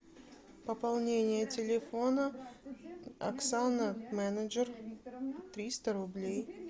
пополнение телефона оксана менеджер триста рублей